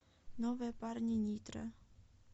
новые парни нитро